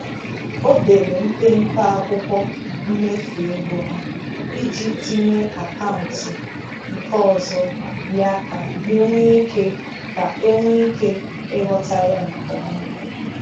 O dere mpempe akwụkwọ mmefu ego ha iji tinye akaụntụ nke ọzọ ya ka enwe ike ka enwe ike ịghọta ya nkeọma